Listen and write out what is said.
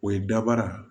O ye dabara